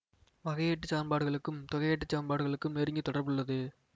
வகையீட்டுச் சமன்பாடுகளுக்கும் தொகையீட்டுச் சமன்பாடுகளுக்கும் நெருங்கிய தொடர்புள்ளது